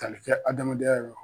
Tali kɛ adamadenya yɔrɔ